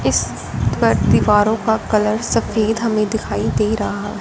इस पर दीवारों का कलर सफेद हमें दिखाई दे रहा--